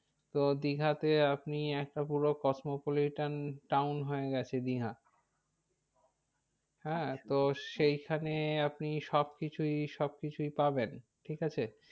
তো দীঘাতে আপনি একটা পুরো cosmopolitan town হয়ে গেছে দীঘা। হ্যাঁ তো সেইখানে আপনি সব কিছুই, সব কিছুই পাবেন ঠিক আছে।